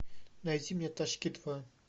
найди мне тачки два